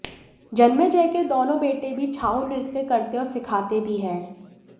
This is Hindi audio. जन्मेजय के दोनों बेटे भी छाउ नृत्य करते और सिखाते भी हैं